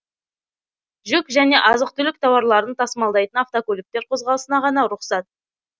жүк және азық түлік тауарларын тасымалдайтын автокөліктер қозғалысына ғана рұқсат